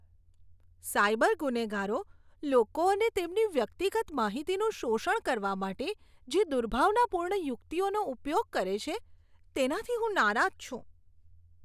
Cyber ગુનેગારો લોકો અને તેમની વ્યક્તિગત માહિતીનું શોષણ કરવા માટે જે દુર્ભાવનાપૂર્ણ યુક્તિઓનો ઉપયોગ કરે છે, તેનાથી હું નારાજ છું.